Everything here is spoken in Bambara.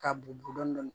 K'a bugɔ dɔɔni